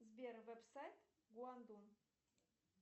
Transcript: сбер вебсайт гуандун